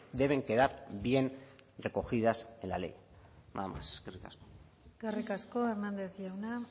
deben quedar bien recogidas en la ley nada más eskerrik asko eskerrik asko hernández jauna